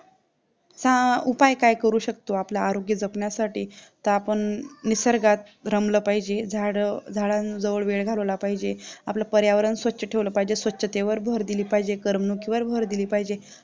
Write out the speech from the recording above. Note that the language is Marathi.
च्या उपाय काय करू शकतो आरोग्य जपण्यासाठी तर आपण निसर्गात रमला पाहिजे झाडं झाडां जवळ वेळ घालवला पाहिजे आपलं पर्यावरण स्वच्छ ठेवलं पाहिजे स्वच्छतेवर भर दिली पाहिजे कारण की वर भर दिली पाहिजे